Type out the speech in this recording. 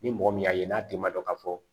Ni mɔgɔ min y'a ye n'a denma don k'a fɔ